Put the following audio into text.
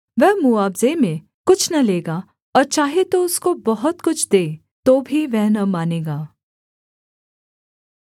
वह मुआवजे में कुछ न लेगा और चाहे तू उसको बहुत कुछ दे तो भी वह न मानेगा